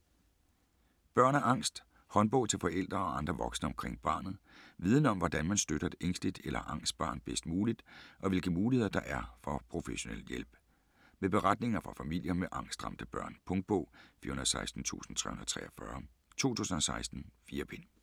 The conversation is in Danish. Børn og angst: håndbog til forældre og andre voksne omkring barnet Viden om hvordan man støtter et ængsteligt eller angst barn bedst muligt og hvilke muligheder der er for professionel hjælp. Med beretninger fra familier med angstramte børn. Punktbog 416343 2016. 4 bind.